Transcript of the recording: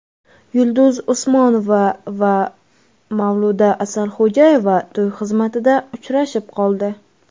Yulduz Usmonova va Mavluda Asalxo‘jayeva to‘y xizmatida uchrashib qoldi.